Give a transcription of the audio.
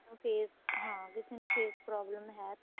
face ਹਾਂ ਕਿਸੇ ਨੂੰ face problem ਹੈ ਤਾਂ